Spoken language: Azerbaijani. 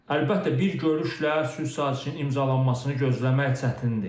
Əlbəttə, bir görüşlə sülh sazişinin imzalanmasını gözləmək çətindir.